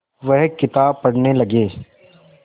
वह किताब पढ़ने लगे